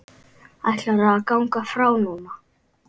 Ætlarðu að ganga frá núna?